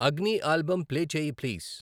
అగ్నీ album play చేయి please.